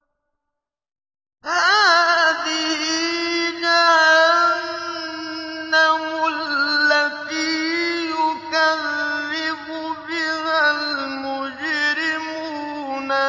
هَٰذِهِ جَهَنَّمُ الَّتِي يُكَذِّبُ بِهَا الْمُجْرِمُونَ